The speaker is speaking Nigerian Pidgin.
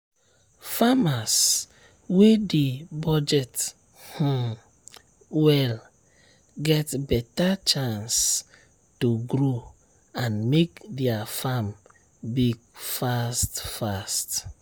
farmers wey dey budget um well get better chance to grow and make their farm big fast fast